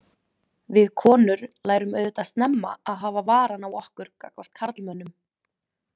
Við konur lærum auðvitað snemma að hafa varann á okkur gagnvart karlmönnum.